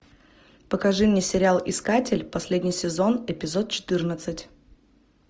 покажи мне сериал искатель последний сезон эпизод четырнадцать